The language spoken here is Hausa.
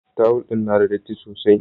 Tawul din na da datti sosai.